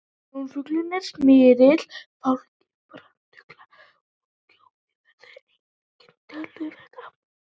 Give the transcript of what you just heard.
Ránfuglar eins og smyrill, fálki, brandugla og kjói veiða einnig töluvert af músum.